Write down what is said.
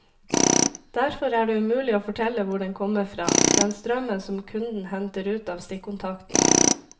Derfor er det umulig å fortelle hvor den kommer fra, den strømmen som kunden henter ut av stikkontakten.